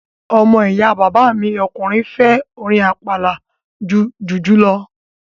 Ọmọ ìyá bàbá mi ọkùnrin fẹ́ orin àpàlà ju jùjú lọ